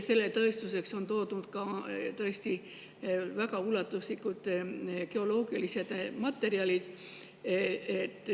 Selle tõestuseks on toodud väga ulatuslikud geoloogilised materjalid.